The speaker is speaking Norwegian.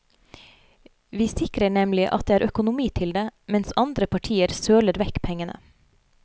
Vi sikrer nemlig at det er økonomi til det, mens andre partier søler vekk pengene.